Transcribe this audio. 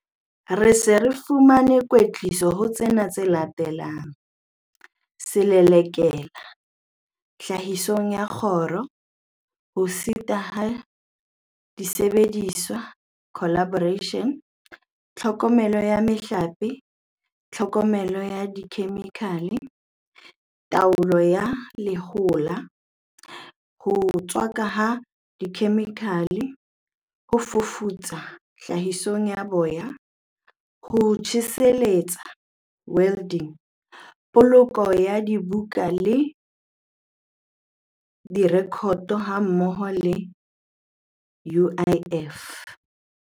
Re se re fumane kwetliso ho tsena tse latelang- Selelekela Tlhahisong ya Koro, Ho setwa ha disebediswa, Calibration, Tlhokomelo ya Mehlape, Tlhokomelo ya Dikhemikhale, Taolo ya Lehola, Ho tswakwa ha Dikhemikhale, Ho fafatsa Tlhahisong ya Boya, Ho tjheselletsa, Welding, Poloko ya Dibuka le Direkoto hammoho le UIF.